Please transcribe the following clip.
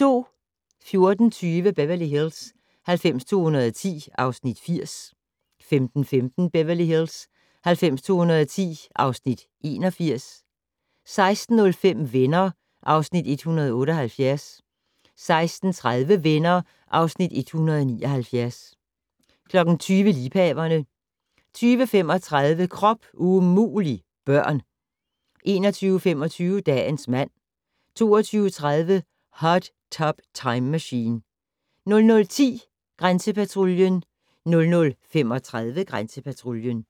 14:20: Beverly Hills 90210 (Afs. 80) 15:15: Beverly Hills 90210 (Afs. 81) 16:05: Venner (Afs. 178) 16:30: Venner (Afs. 179) 20:00: Liebhaverne 20:35: Krop umulig - børn 21:25: Dagens mand 22:30: Hot Tub Time Machine 00:10: Grænsepatruljen 00:35: Grænsepatruljen